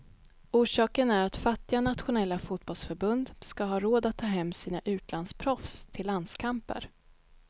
Orsaken är att fattiga nationella fotbollförbund ska ha råd att ta hem sina utlandsproffs till landskamper.